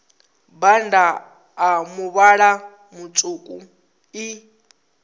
bannda a muvhala mutswuku i